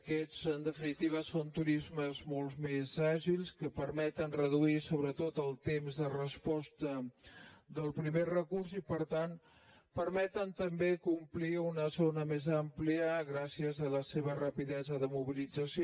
aquests en definitiva són turismes molt més àgils que permeten reduir sobretot el temps de resposta del primer recurs i per tant permeten també complir una zona més àmplia gràcies a la seva rapidesa de mobilització